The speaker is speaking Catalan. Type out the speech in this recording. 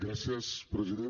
gràcies president